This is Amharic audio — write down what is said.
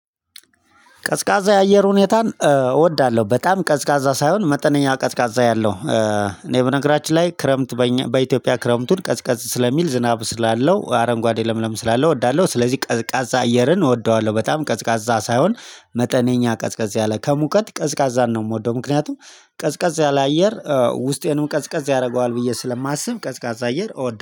ቀዝቃዛ የአየር ሁኔታን እወዳለሁ በጣም ቀዝቃዛ ሳይሆን መጠነኛ ቀዝቃዛ ያለው። እኔ በነገራችን ላይ ክረምት በእኛ በኢትዮጵያ ክረምቱን ቀዝቃዝ ስለሚል ዝናብ ስላለው አረንጓዴ ለምለም ስላለው እወዳለሁ። ስለዚህ ቀዝቃዛ አየርን እወደዋለሁ በጣም ቀዝቃዛ ሳይሆን መጠነኛ ቀዝቃዛ ያለ ከሙቀት ቀዝቃዛን ነው የምወደው። ምክንያቱም ቀዝቃዛ ያለ አየር ውስጤንም ቀዝቃዛ ያደርገዋል ብዬ ስለማስብ ቀዝቃዛ አየር እወደዋለሁ